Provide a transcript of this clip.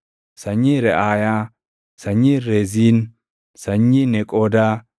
sanyii Reʼaayaa, sanyii Reziin, sanyii Neqoodaa,